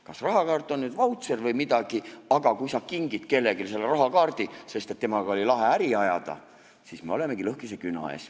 Kas rahakaart on nüüd vautšer või midagi, aga kui sa kingid kellelegi selle rahakaardi, sest temaga oli lahe äri ajada, siis me olemegi lõhkise küna ees.